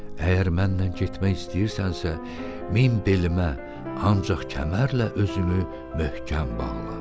Əgər mənimlə getmək istəyirsənsə, min belimə, ancaq kəmərlə özünü möhkəm bağla.